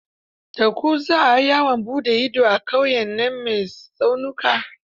Da ku za a yawan buɗe ido ƙauyen nan mai tsaunuka?